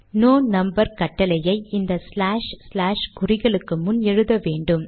no number கட்டளையை இந்த slash slash குறிகளுக்கு முன் எழுத வேண்டும்